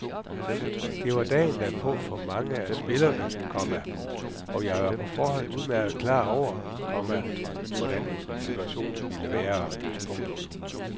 Det var dagen derpå for mange af spillerne, komma og jeg var på forhånd udmærket klar over, komma hvordan situationen ville være. punktum